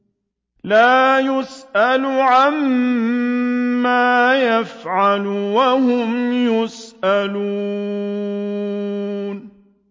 لَا يُسْأَلُ عَمَّا يَفْعَلُ وَهُمْ يُسْأَلُونَ